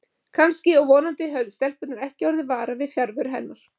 Kannski og vonandi höfðu stelpurnar ekki orðið varar við fjarveru hennar.